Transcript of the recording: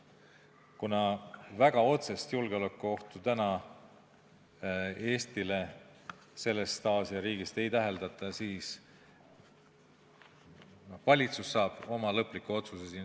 Kuna väga otsest julgeolekuohtu täna Eestile sellest Aasia riigist ei täheldata, siis saab valitsus siin oma lõpliku otsuse teha.